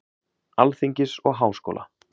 Alþingis og Háskóla.